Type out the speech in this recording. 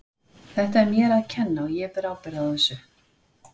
Þetta er mér að kenna og ég ber ábyrgð á þessu.